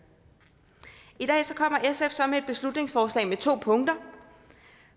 i dag kommer sf så med et beslutningsforslag med to punkter